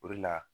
O de la